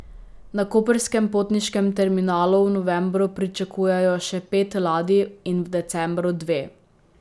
Na koprskem potniškem terminalu v novembru pričakujejo še pet ladij in v decembru dve.